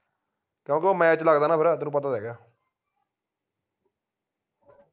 ਕਿਉਂਕਿ ਉਹ match ਲਗਦਾ ਨਾ ਫੇਰ ਤੈਨੂੰ ਪਤਾ ਤਾ ਹੇਗਾ